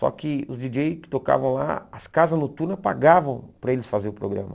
Só que os djíi djêi que tocavam lá, as casas noturnas pagavam para eles fazerem o programa.